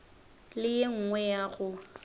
le ye nngwe ya go